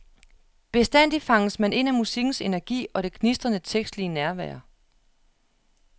Bestandig fanges man ind af musikkens energi og det gnistrende tekstlige nærvær.